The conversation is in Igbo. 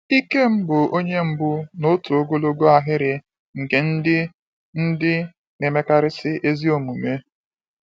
Ikem bụ onye mbụ n’otu ogologo ahịrị nke ndị ndị na-emekarisi ezi omume.